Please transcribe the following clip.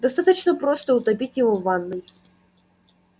достаточно просто утопить его в ванной